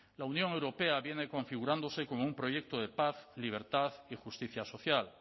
la unión europea viene configurándose como un proyecto de paz libertad y justicia social